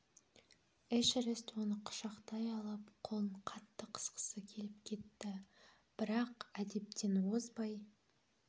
эшерест оны құшақтай алып қолын қатты қысқысы келіп кетті бірақ әдептен озбай